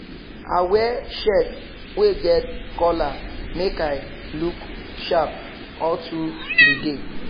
i wear shirt wey get collar make i look sharp all tru the day